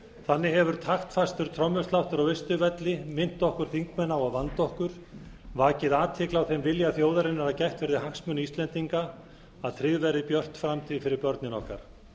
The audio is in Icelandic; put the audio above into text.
þannig hefur taktfastur trommusláttur á austurvelli minnt okkur þingmenn á að vanda okkur vakið athygli á þeim vilja þjóðarinnar að gætt verði hagsmuna íslendinga að tryggð verði björt framtíð fyrir börnin okkar